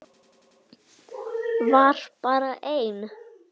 Var bara einn?